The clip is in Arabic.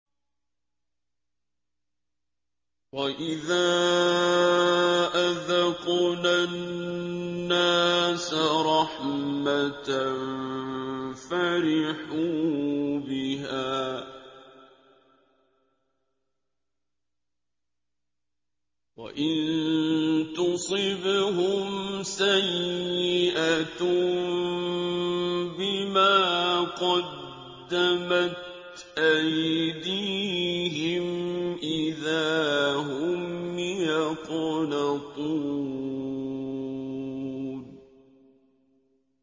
وَإِذَا أَذَقْنَا النَّاسَ رَحْمَةً فَرِحُوا بِهَا ۖ وَإِن تُصِبْهُمْ سَيِّئَةٌ بِمَا قَدَّمَتْ أَيْدِيهِمْ إِذَا هُمْ يَقْنَطُونَ